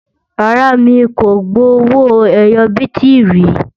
rárá, mí kò gbó owó ẹyọ biti rí